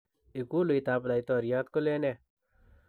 Ikuluitab laitoriat kolen nee?